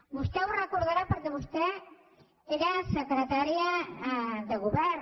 vostè ho deu recordar perquè vostè era secretària de govern